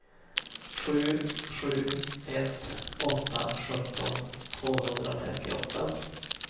sju sju ett åtta sjutton tvåhundratrettioåtta